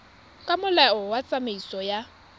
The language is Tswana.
ka molao wa tsamaiso ya